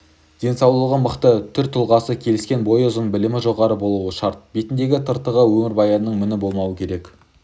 денсаулығы мықты түр-тұлғасы келіскен бойы ұзын білімі жоғары болуы шарт бетінде тыртығы өмірбаянында міні болмауы керек